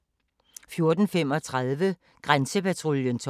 Fredag d. 4. august 2017